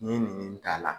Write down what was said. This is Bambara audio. N'i ye nin nin k'a la